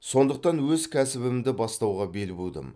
сондықтан өз кәсібімді бастауға бел будым